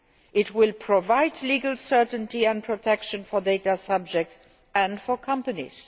must. It will provide legal certainty and protection for data subjects and for companies.